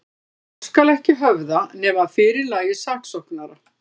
Mál skal ekki höfða, nema að fyrirlagi saksóknara.